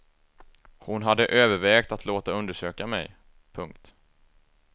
Hon hade övervägt att låta undersöka mig. punkt